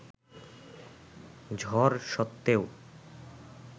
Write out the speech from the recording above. ঝড় স্বত্ত্বেও